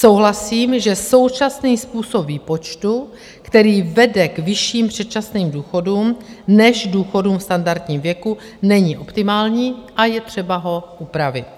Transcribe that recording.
Souhlasím, že současný způsob výpočtu, který vede k vyšším předčasným důchodům než důchodům v standardním věku, není optimální a je třeba ho upravit.